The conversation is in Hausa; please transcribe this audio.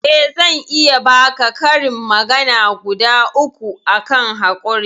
eh zan iya baka karin magana guda uku akan hakuri